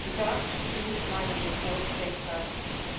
The draft Toom Leinen report states that